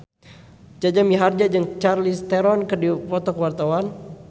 Jaja Mihardja jeung Charlize Theron keur dipoto ku wartawan